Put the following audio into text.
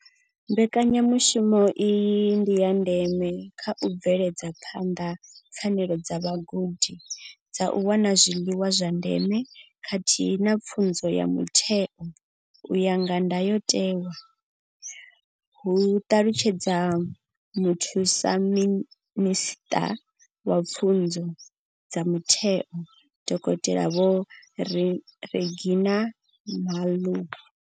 Mbekanyamushumo iyi ndi ya ndeme kha u bveledza phanḓa pfanelo dza vhagudi dza u wana zwiḽiwa zwa ndeme khathihi na pfunzo ya mutheo u ya nga ndayotewa, hu ṱalutshedza muthusa minisṱa wa pfunzo dza mutheo, dokotela Vho Reginah Mhaule.